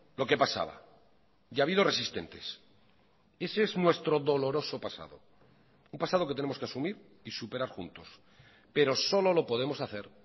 lo que pasaba y ha habido resistentes ese es nuestro doloroso pasado un pasado que tenemos que asumir y superar juntos pero solo lo podemos hacer